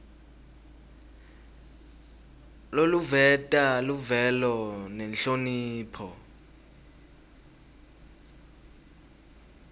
loluveta luvelo nenhlonipho